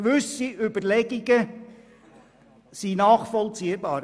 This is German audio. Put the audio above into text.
Gewisse Überlegungen sind nachvollziehbar.